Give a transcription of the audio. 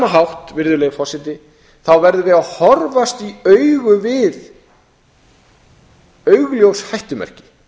hátt virðulegi forseti verðum við að horfast í augu við augljós hættumerki